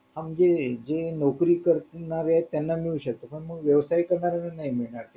हा म्हणजे जे नोकरी करणारे त्यांना मिळू शकते पण मग व्यवसाय करणाऱ्यांना नाही मिळणार